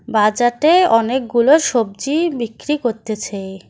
বাজাটে অনেকগুলো সবজি বিক্রি করতেছে।